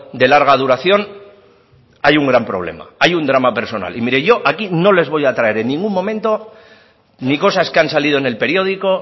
de larga duración hay un gran problema hay un drama personal y mire yo aquí no les voy a traer en ningún momento ni cosas que han salido en el periódico